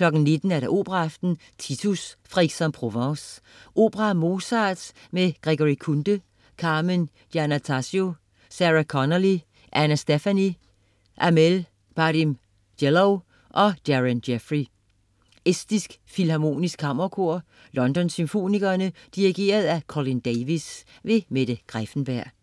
19.00 Operaaften. Titus. Fra Aix-en-Provence. Opera af Mozart med Gregory Kunde, Carmen Giannattasio, Sarah Connolly, Anna Stephany, Amel Brahim-Djelloul og Darren Jeffery. Estisk Filharmonisk Kammerkor. London Symfonikerne. Dirigent: Colin Davis. Mette Greiffenberg